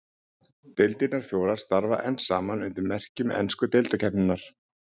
Deildirnar fjórar starfa enn saman undir merkjum ensku deildarkeppninnar.